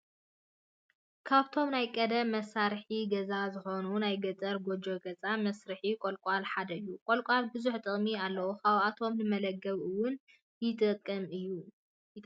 ካብቶም ናይ ቀደም መሳርሒ ገዛ ዝኮኑ ናይ ገጠር ጎጆ ገዛ መስርሒ ቆልቃል ሓደ እዩ። ቆልቃል ብዙሕ ጥቅሚ ኣለዎ ካብኣቶም ንመላገቢ እውን ይጠቅም እዩ።